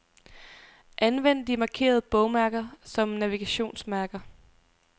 Anvend de markerede bogmærker som navigationsmærker.